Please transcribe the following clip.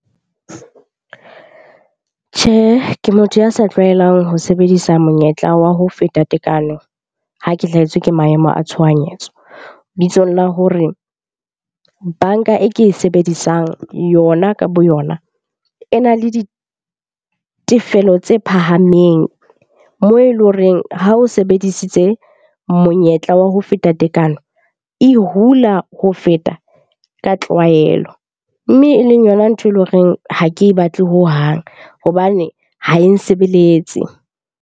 Tjhehe, ke motho ya sa tlwaelang ho sebedisa monyetla wa ho feta tekano ho ke hlahetswe ke maemo a tshohanyetso. Bitsong la hore banka e ke e sebedisang yona ka boyona e na le ditefelo tse phahameng moo e leng horeng ha o sebedisitse monyetla wa ho feta tekano, e hula ho feta ka tlwaelo. Mme e leng yona ntho e leng horeng ha ke e batle hohang hobane ha e nsebeletse.